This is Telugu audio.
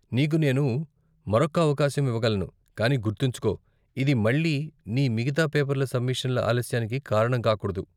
నీకు నేను మరొక్క అవకాశం ఇవ్వగలను, కానీ గుర్తుంచుకో, ఇది మళ్ళీ నీ మిగితా పేపర్ల సబ్మిషన్ల ఆలస్యానికి కారణం కాకూడదు.